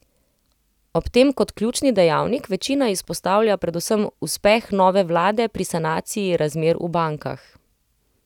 Ob tem kot ključni dejavnik večina izpostavlja predvsem uspeh nove vlade pri sanaciji razmer v bankah.